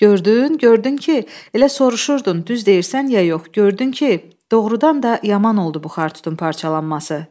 Gördün, gördün ki, elə soruşurdun, düz deyirsən ya yox, gördün ki, doğurdan da yaman oldu bu xar tutun parçalanması.